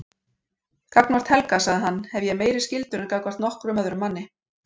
Gagnvart Helga, sagði hann, hefi ég meiri skyldur en gagnvart nokkrum öðrum manni.